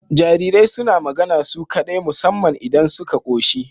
Jarirai suna magana su kaɗai musamman idan suka koshi